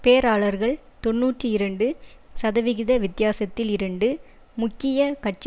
பேராளர்கள் தொன்னூற்றி இரண்டு சதவிகித வித்தியாசத்தில் இரண்டு முக்கிய கட்சி